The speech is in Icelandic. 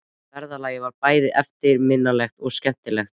Ferðalagið var bæði eftirminnilegt og skemmtilegt.